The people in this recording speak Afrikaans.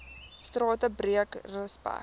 strate breek respek